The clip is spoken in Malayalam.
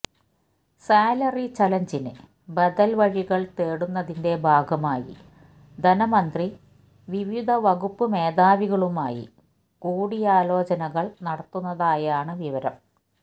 സാലറി ചലഞ്ചിന് ബദല് വഴികള് തേടുന്നതിന്റെ ഭാഗമായി ധനമന്ത്രി വിവിധ വകുപ്പ് മേധാവികളുമായി കൂടിയാലോചനകള് നടത്തുന്നതായാണ് വിവരം